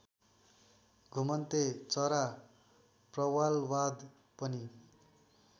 घुमन्ते चरा प्रवालवाद पनि